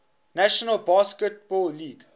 national basketball league